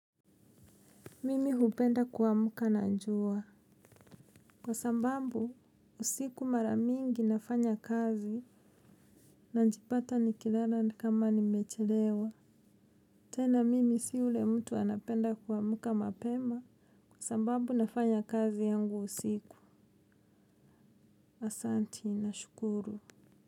Mimi hupenda kuamka na njua. Kwa sambambu, usiku mara mingi nafanya kazi na njipata ni kilala ni kama ni mechelewa. Tena mimi si ule mtu anapenda kuamuka mapema kwa sambambu nafanya kazi yangu usiku. Asanti, na shukuru.